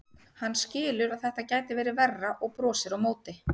Hann skilur að þetta gæti verið verra og brosir á móti.